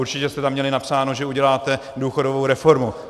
Určitě jste tam měli napsáno, že uděláte důchodovou reformu.